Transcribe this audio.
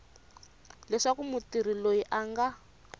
leswaku mutirhi loyi a nga